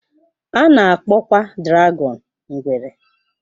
A na-akpọkwa dragọn ngwere.